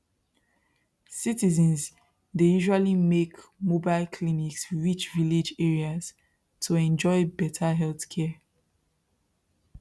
citizens dey usually make mobile clinics reach village areas to enjoy better healthcare